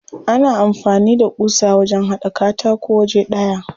Ana amfani da ƙusa wajen haɗa katako waje ɗaya.